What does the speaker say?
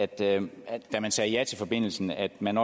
da man sagde ja til forbindelsen at man